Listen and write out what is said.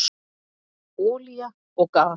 Olía og gas